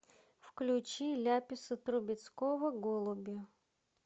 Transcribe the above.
включи ляписа трубецкого голуби